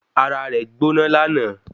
Ara rẹ̀ gbóná lánàá